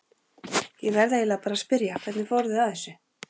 Ég verð eiginlega bara að spyrja, hvernig fóruð þið að þessu?